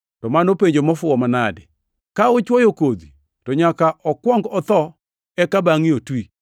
To mano penjo mofuwo manade! Ka uchwoyo kodhi, to nyaka okuong otho eka bangʼe otwi.